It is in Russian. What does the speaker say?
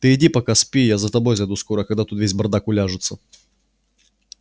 ты иди пока спи я за тобой зайду скоро когда тут весь бардак уляжется